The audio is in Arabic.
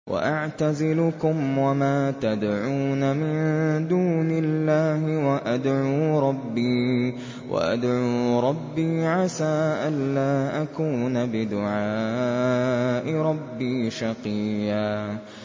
وَأَعْتَزِلُكُمْ وَمَا تَدْعُونَ مِن دُونِ اللَّهِ وَأَدْعُو رَبِّي عَسَىٰ أَلَّا أَكُونَ بِدُعَاءِ رَبِّي شَقِيًّا